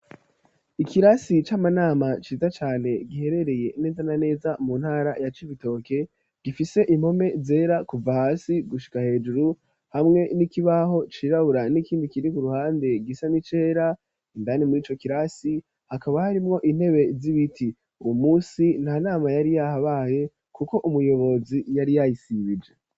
Ikirasi c'amanama ciza cane giherereye neza na neza mu ntara ya Civitoke gifise impome zera kuva hasi gushika hejuru hamwe n'ikibaho cirabura n'ikindi kiri ku ruhande gisa n'icera indani murico kirasi hakaba harimwo intebe z'ibiti uwo musi nta nama yari yahabaye kuko umuyobozi yari yayisibije.